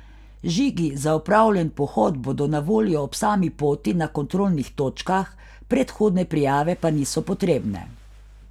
Žigi za opravljen pohod bodo na voljo ob sami poti na kontrolnih točkah, predhodne prijave pa niso potrebne.